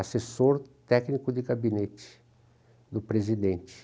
assessor técnico de gabinete do presidente.